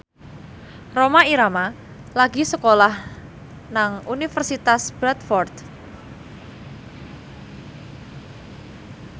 Rhoma Irama lagi sekolah nang Universitas Bradford